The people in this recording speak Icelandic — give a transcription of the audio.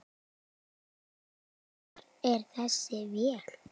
En hvar er þessi vél?